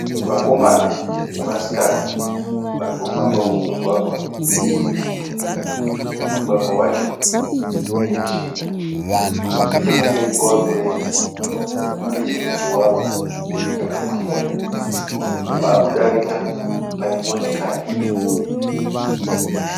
Vakomana nevasikana varikufamba mumugwagwa weguta. Mugwagwa wacho unetsvina. Nechekumberi kwavarikuenda kunechimwe chivako chakakwirira. Vaakudarika panemotikari nhema.